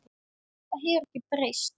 Það hefur ekkert breyst.